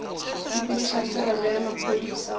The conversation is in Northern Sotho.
sepediša tirelo ya maphodisa go